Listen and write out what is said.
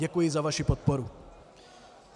Děkuji za vaši podporu.